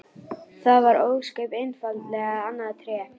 Það var ósköp einfaldlega annað Tré!